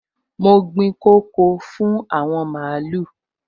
Mo gbin koko fún àwọn màlúù